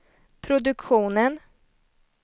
produktionen